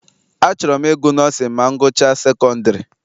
Achọrọ m ịgụ nọọsịn ma m gụchaa sekondiri.